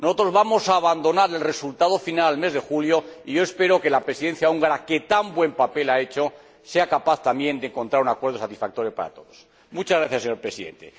Nosotros vamos a abandonar el resultado final al mes de julio, y yo espero que la Presidencia húngara, que tan buen papel ha hecho, sea capaz también de encontrar un acuerdo satisfactorio para todos. Muchas gracias, señor Presidente.